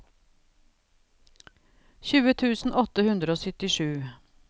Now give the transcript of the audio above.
tjue tusen åtte hundre og syttisju